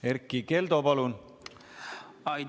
Erkki Keldo, palun!